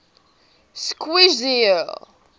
schweizer